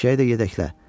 Eşşəyi də yedəklə.